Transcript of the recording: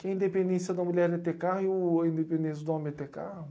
Que a independência da mulher é ter carro e o, e a independência do homem é ter carro?